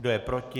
Kdo je proti?